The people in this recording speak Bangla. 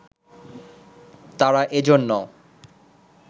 তারা এজন্য